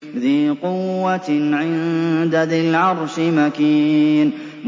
ذِي قُوَّةٍ عِندَ ذِي الْعَرْشِ مَكِينٍ